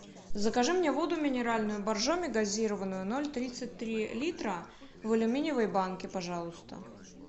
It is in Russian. закажи мне воду минеральную боржоми газированную ноль тридцать три литра в алюминиевой банке пожалуйста